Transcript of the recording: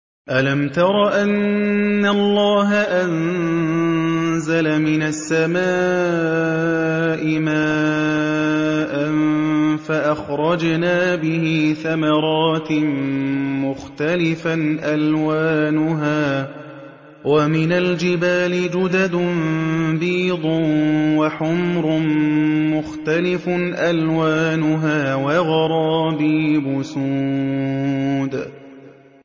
أَلَمْ تَرَ أَنَّ اللَّهَ أَنزَلَ مِنَ السَّمَاءِ مَاءً فَأَخْرَجْنَا بِهِ ثَمَرَاتٍ مُّخْتَلِفًا أَلْوَانُهَا ۚ وَمِنَ الْجِبَالِ جُدَدٌ بِيضٌ وَحُمْرٌ مُّخْتَلِفٌ أَلْوَانُهَا وَغَرَابِيبُ سُودٌ